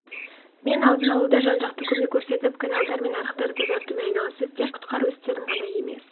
құтқарушылар аталған жерге жеткен соң шығыс қазақстан облыстық қызметтерімен бірлесіп күні-түні су тасқын кезеңінің зардаптарын жою